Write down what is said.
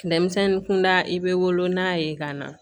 Minɛnmisɛnnin kunda i bɛ wolo n'a ye ka na